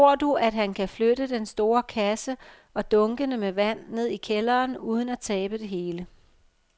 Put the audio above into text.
Tror du, at han kan flytte den store kasse og dunkene med vand ned i kælderen uden at tabe det hele?